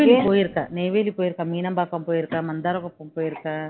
போயிருக்கேன் நெய்வேலி போயிருக்கேன் மீனம்பாக்கம் போயிருக்கேன் மந்தாரபாக்கம் போயிருக்கேன்